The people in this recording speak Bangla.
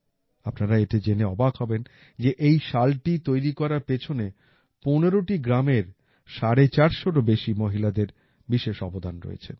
আপনারা এটা জেনে অবাক হবেন যে এই শালটি তৈরি করার পেছনে ১৫টি গ্রামের ৪৫০ এরও বেশি মহিলাদের বিশেষ অবদান রয়েছে